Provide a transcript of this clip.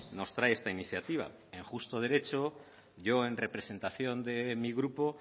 nos trae esta iniciativa en justo derecho yo en representación de mi grupo